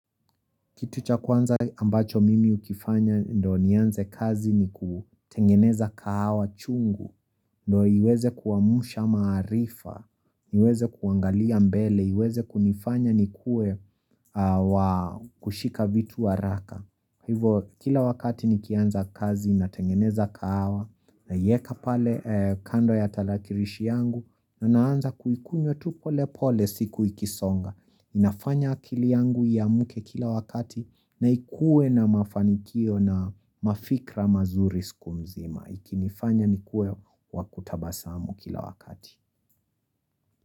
Kitu cha kwanza ambacho mimi hukifanya ndiyo nianze kazi ni kutengeneza kahawa chungu, ndiyo iweze kuamsha maarifa, niweze kuangalia mbele, iweze kunifanya nikuwe wa kushika vitu kwa haraka. Hivyo kila wakati nikianza kazi natengeneza kahawa naiweka pale kando ya tarakirishi yangu na naanza kuikunywa tu polepole siku ikisonga. Inafanya akili yangu iamke kila wakati na ikuwe na mafanikio na mafikra mazuri siku nzima. Ikinifanya nikuwe wa kutabasamu kila wakati.